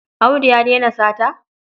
Audu ya daina sata?